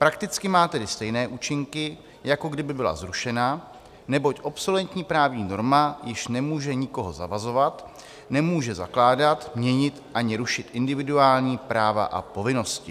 Prakticky má tedy stejné účinky, jako kdyby byla zrušena, neboť obsoletní právní norma již nemůže nikoho zavazovat, nemůže zakládat, měnit ani rušit individuální práva a povinnosti.